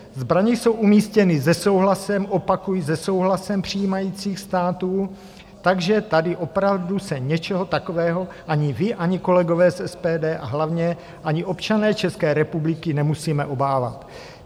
Zbraně jsou umístěny se souhlasem - opakuji se souhlasem - přijímajících států, takže tady opravdu se něčeho takového ani vy, ani kolegové z SPD a hlavně ani občané České republiky nemusíme obávat.